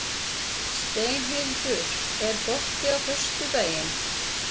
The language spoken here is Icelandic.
Steinhildur, er bolti á föstudaginn?